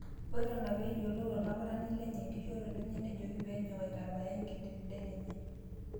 Na ina peeyiolou olaputani lenye enkishoroto enye nejoki peenyok aitambaya enkidetideti enye